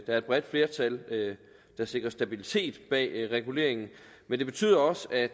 er et bredt flertal der sikrer stabilitet bag reguleringen men det betyder også at